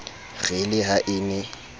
re le ha e ne